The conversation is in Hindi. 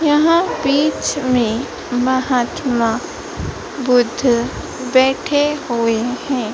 यहां बीच में महात्मा बुद्ध बैठे हुए हैं।